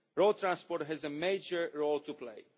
Road transport has a major role to play.